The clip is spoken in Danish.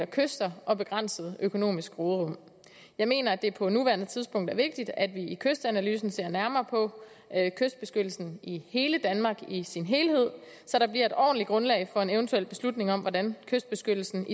kyster og begrænset økonomisk råderum jeg mener at det på nuværende tidspunkt er vigtigt at vi i kystanalysen ser nærmere på kystbeskyttelsen i hele danmark i sin helhed så der bliver et ordentligt grundlag for en eventuel beslutning om hvordan kystbeskyttelsen